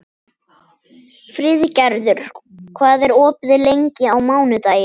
Friðgerður, hvað er opið lengi á mánudaginn?